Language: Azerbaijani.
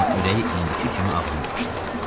Amma ürəyi indiki kimi ağrımamışdı.